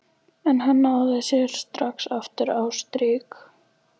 En hann náði sér strax aftur á strik.